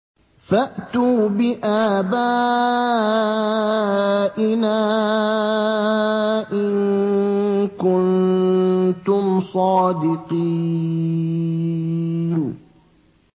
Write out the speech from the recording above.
فَأْتُوا بِآبَائِنَا إِن كُنتُمْ صَادِقِينَ